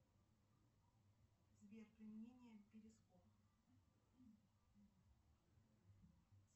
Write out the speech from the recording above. сбер применение перископ